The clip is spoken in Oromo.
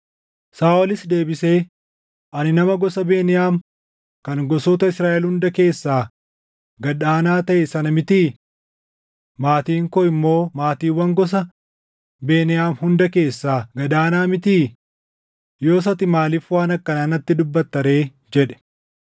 Saaʼolis deebisee, “Ani nama gosa Beniyaam kan gosoota Israaʼel hunda keessaa gad aanaa taʼe sana mitii? Maatiin koo immoo maatiiwwan gosa Beniyaam hunda keessaa gad aana mitii? Yoos ati maaliif waan akkanaa natti dubbatta ree?” jedhe.